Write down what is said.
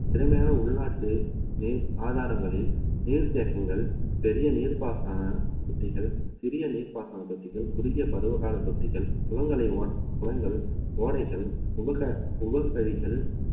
திறமையான உள்நாட்டு நீர் ஆதாரங்களில் நீர் தேக்கங்கள் பெரிய நீர்ப்பாசன தொட்டிகள் சிறிய நீர்ப்பாசன தொட்டிகள் குறுகிய பருவ கால தொட்டிகள் குளங்களை உருவ~ குளங்கள் ஓடைகள் உபச~ உபசரிகள்